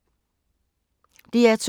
DR2